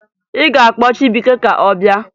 Ị ga-akpọ Chibuike ka ọ bịa!